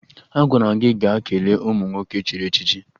Agwara m gị gaa kelee ụmụ nwoke echiri echichi!